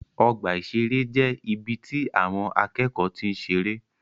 Ọgbà ìṣeré jẹ́ ibi tí àwọn akẹ́kọ̀ọ́ ti ń seré.